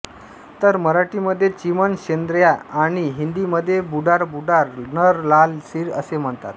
तर मराठी मध्ये चिमण शेन्द्र्या आणि हिंदी मध्ये बुडार बुडार नर लाल सिर असे म्हणतात